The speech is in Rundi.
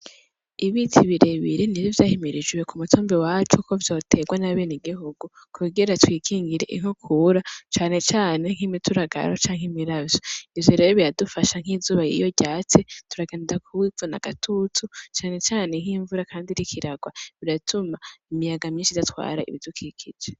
Ibiti birebire nivyo vyahimirijwe kumutumba iwacu ko vyoterwa n’abenegihugu kugira twikingire inkukura cane cane nk’imituragaro canke imiravyo, ivyo rero biradufasha nk’izuba iyo ryatse turagenda kuzana agatutu cane cane nk’imvura kandi iriko iragwa biratuma imiyaga myinshi idatwatara ibidukikije.